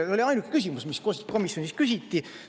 See oli ainuke küsimus, mis komisjonis küsiti.